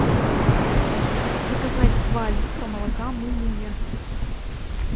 заказать два литра молока мумуня